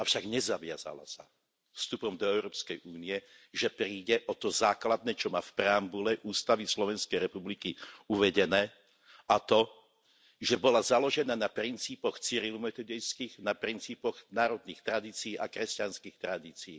Avšak nezaviazala sa vstupom do Európskej únie, že príde o to základné, čo má v preambule ústavy Slovenskej republiky uvedené, a to, že bola založená na princípoch cyrilo metodejských, na princípoch národných tradícií a kresťanských tradícií.